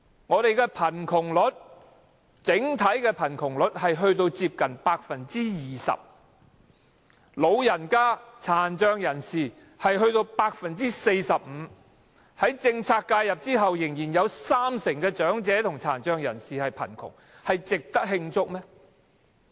我們的整體貧窮率接近 20%， 老人家和殘障人士的貧窮率達 45%， 在政策介入後仍然有三成長者和殘障人士貧窮，值得慶祝嗎？